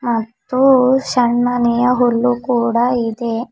ಮತ್ತು ಸಣ್ಣನೆಯ ಹುಲ್ಲು ಕೂಡ ಇದೆ.